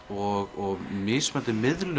og mismunandi miðlun